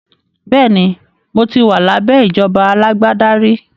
Bẹ́ẹ̀ni, mo ti wà lábẹ́ ìjọba alágbádá rí